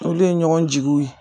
Olu ye ɲɔgɔn jigiw ye